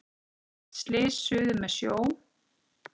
Stórt slys suður með sjó.